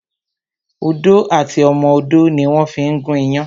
Odó àti ọmọ odó ni wón fí ń gún iyán